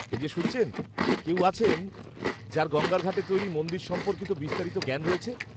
-এই যে শুনছেন, কেউ আছেন যাঁর গঙ্গার ঘাটে তৈরি মন্দির সম্পর্কে বিস্তারিত জ্ঞান রয়েছে?